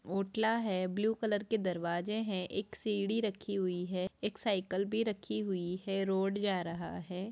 ओटला है blue colour के दरवाजे है एक सीढ़ी रखी हुई है एक साइकिल भी रखी हुई है रोड जा रहा है।